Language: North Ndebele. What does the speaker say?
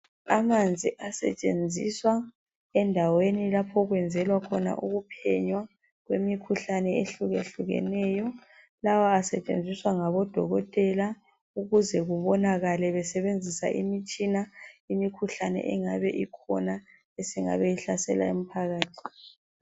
Amanzi asetshenziswa endaweni lapho okwenzelwa khona uphenyo kwemikhuhlane ehluke hlukeneyo lawa asetshenziswa ngabodokotela ukuze kubonakale besebenzisa imitshina imikhuhlane engabe ikhona isingabe ihlasela umphakathi.